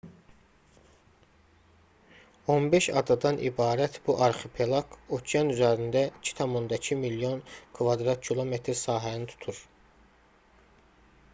15 adadan ibarət bu arxipelaq okean üzərində 2,2 milyon km2 sahəni tutur